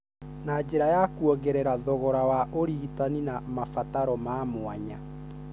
na njĩra ya kuongerera thogora wa ũrigitani na mabataro ma mwanya,